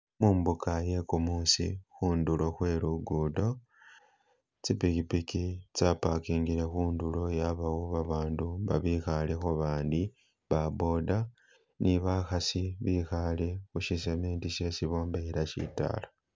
Mumbuka ye kumusi, khundulo khwe lugudo, tsipikipiki tsa pakingile khundulo yabawo babandu babikhalekho bandi, ba boda ni bakhasi bikhale khusi cement shesi bombekhela shidala